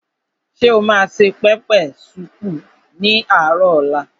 Ṣé o ma se pẹpẹ súùpù ní àárò ọ̀la?